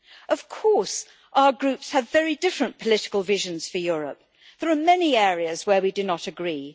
Of course, our Groups have very different political visions for Europe there are many areas where we do not agree.